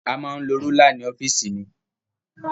A máa ń lo rúlà ní ọ́fìsì mi.